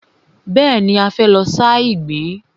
Bẹ́ẹ̀ni, a fẹ́ lọ sa ìgbín.